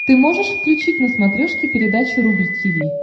ты можешь включить на смотрешке передачу рубль ти ви